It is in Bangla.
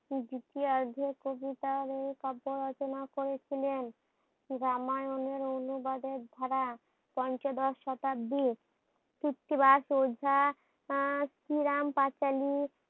দ্বিতীয় অর্ধে কবিতা ও কাব্য রচনা করেছিলেন। রামায়ণের অনুবাদের ধারা পঞ্চদশ শতাব্দী কৃত্তিবাজ সুধা শ্রীরাম পাঁচালি